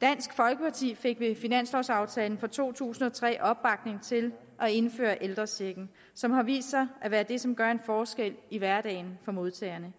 dansk folkeparti fik ved finanslovaftalen for to tusind og tre opbakning til at indføre ældrechecken som har vist sig at være det som gør en forskel i hverdagen for modtagerne